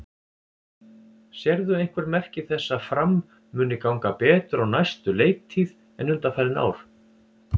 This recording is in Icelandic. Sérðu einhver merki þess að Fram muni ganga betur á næstu leiktíð en undanfarin ár?